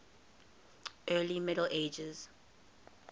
early middle ages